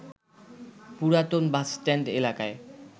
পুরাতন বাসস্ট্যান্ড এলাকায়